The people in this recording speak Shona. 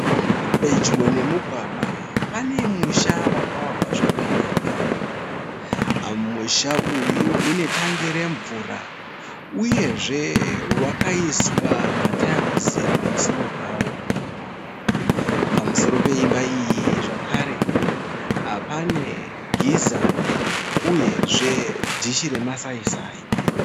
Pedyo nemugwagwa pane musha wakavakwa zvakanaka. Musha uyu une tangi remvura uyezve wakaiswa mataiwuzi pamusoro pawo. Pamusoro peimba iyi zvakare pane giza uyezve dishi remasaisai